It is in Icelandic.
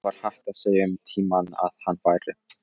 Það var hægt að segja um tímann að hann væri.